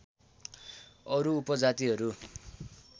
अरू उप जातिहरू